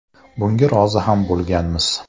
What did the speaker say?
Bunga rozi ham bo‘lganmiz.